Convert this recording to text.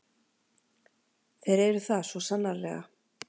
Þeir eru það, svo sannarlega.